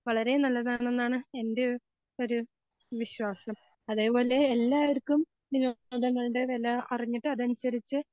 വളരെ നല്ലതാണെന്നാണ് എൻ്റെ ഒരു വിശ്വാസം. അതേപോലെ എല്ലാർക്കും വിനോദങ്ങളുടെ വെല അറിഞ്ഞിട്ട് അതനുസരിച്ച്